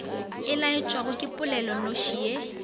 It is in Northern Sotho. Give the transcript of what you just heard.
e laetšwago ke polelonoši ye